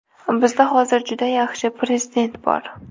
Bizda hozir juda yaxshi prezident bor.